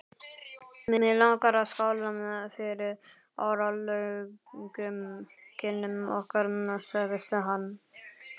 Mig langar að skála fyrir áralöngum kynnum okkar sagði hann.